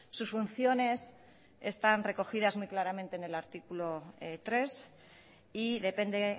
sus funciones están recogidas muy claramente en el artículo tres y depende